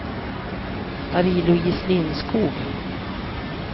Marie-Louise Lindskog